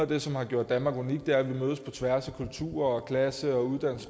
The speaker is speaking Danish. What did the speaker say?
det som har gjort danmark unikt er at vi mødes på tværs af kultur og klasse